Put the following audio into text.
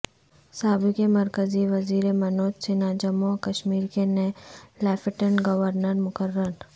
سابق مرکزی وزیر منوج سنہا جموں و کشمیر کے نئے لیفٹننٹ گور نر مقرر